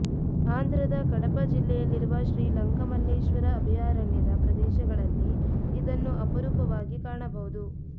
ಆಂಧ್ರದ ಕಡಪಾ ಜಿಲ್ಲೆಯಲ್ಲಿರುವ ಶ್ರೀ ಲಂಕಮಲ್ಲೇಶ್ವರ ಅಭಯಾರಣ್ಯದ ಪ್ರದೇಶಗಳಲ್ಲಿ ಇದನ್ನು ಅಪರೂಪವಾಗಿ ಕಾಣಬಹುದು